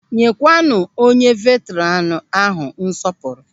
Nyekwanu onye veetranu ahụ nsọpụrụ!